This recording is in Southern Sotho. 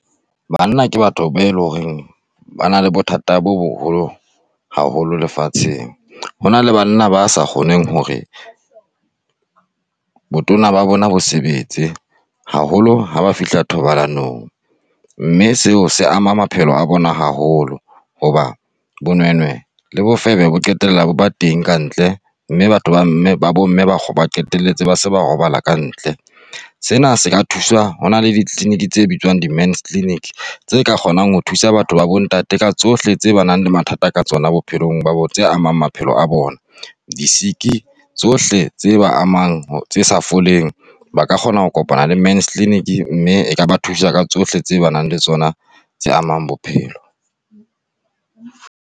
Banna ke batho ba e leng hore ba na le bothata bo boholo haholo lefatsheng. Ho na le bana ba sa kgoneng hore botona ba bona bo sebetse haholo ha ba fihla thobalanong, mme seo se ama maphelo a bona haholo hoba bonwenwe le bofebe bo qetella bo ba teng kantle mme batho ba mme ba bomme ba qetelletse ba se ba robala kantle. Sena se ka thuswa ho na le di-clinic tse bitswang di-Men's Clinic, tse ka kgonang ho thusa batho ba bontate ka tsohle tse ba nang le mathata ka tsona bophelong ba tse amang maphelo a bona, di-sick tsohle tse ba amang tse sa foleng, ba ka kgona ho kopana le Men's Clinic mme eka ba thusa ka tsohle tse ba nang le tsona tse amang bophelo.